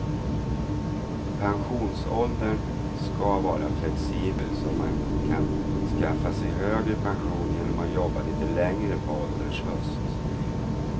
Pensionsåldern ska vara flexibel så att man kan skaffa sig högre pension genom att jobba lite längre på ålderns höst.